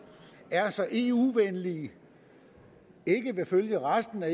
er så eu venlige ikke vil følge resten af